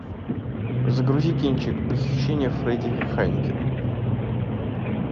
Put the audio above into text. загрузи кинчик похищение фредди хайнекена